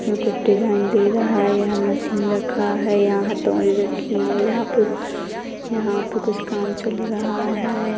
कुछ डिजाइन दे रहा है यहां मशीन रखा है यहां हतोडी रखी है यहां पे यहां पे कुछ काम चल रहा है।